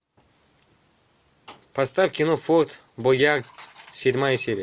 поставь кино форд боярд седьмая серия